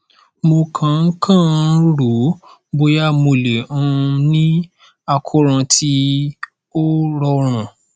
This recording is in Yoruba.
mo kàn ń kàn ń rò ó bóyá mo lè um ní àkóràn tí ó rọrùn